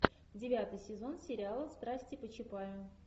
девятый сезон сериала страсти по чапаю